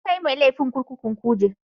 An kai mai laifi kurkukun kuje